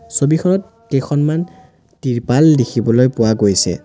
ছবিখনত কেইখনমান ত্ৰিপাল দেখিবলৈ পোৱা গৈছে।